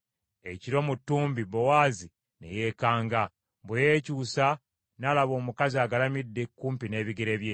Ekiro mu ttumbi, Bowaazi ne yeekanga, bwe yeekyusa n’alaba omukazi agalamidde kumpi n’ebigere bye.